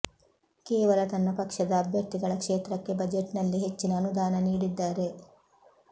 ಕೇವಲ ತನ್ನ ಪಕ್ಷದ ಅಭ್ಯರ್ಥಿಗಳ ಕ್ಷೇತ್ರಕ್ಕೆ ಬಜೆಟ್ನಲ್ಲಿ ಹೆಚ್ಚಿನ ಅನುದಾನ ನೀಡಿದ್ದಾರೆ